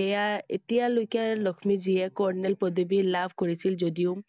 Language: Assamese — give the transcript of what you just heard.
এয়া এতিয়ালৈকে লক্ষ্মীয়ে যিয়ে colonel পদবী লাভ কৰিছিল যদিও